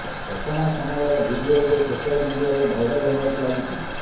ଘଟଣା ସମୟର ଭିଡିଓ ଏବେ ସୋଶାଲ ମିଡିଆରେ ଭାଇରାଲ୍ ହେବାକୁ ଲାଗିଛି